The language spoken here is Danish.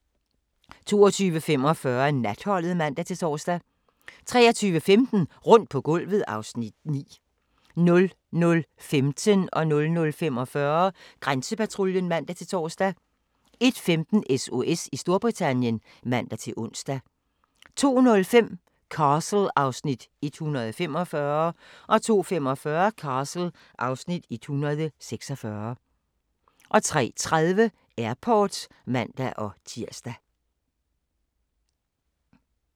22:45: Natholdet (man-tor) 23:15: Rundt på gulvet (Afs. 10) 00:15: Grænsepatruljen (man-tor) 00:45: Grænsepatruljen (man-tor) 01:15: SOS i Storbritannien (man-ons) 02:05: Castle (Afs. 145) 02:45: Castle (Afs. 146) 03:30: Airport (man-tir)